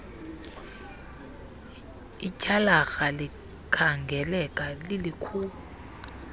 ityhalarha likhangeleka lilikhulu